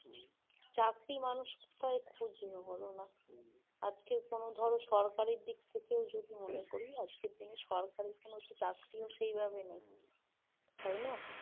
চাকরি মানুষ কোথায় খুঁজবে বলো না আজকের কোনো ধর সরকারের দিক থেকেও যদি মনে করি আজকের দিনে সরকারের চাকরিও সেইভাবে নেই তাই